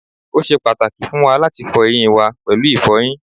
o ṣe pàtàkì fún wa láti fọ eyín wa pẹ̀lú ìfọyín